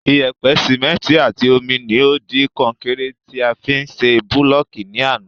Iyèpè, Síméntì àti omi ni o di konkéré ti a fi ṣe búlọ̀kì ní àná